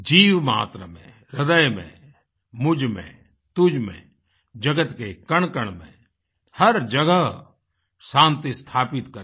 जीवमात्र में हृदय में मुझ में तुझ में जगत के कणकण में हर जगह शान्ति स्थापित करें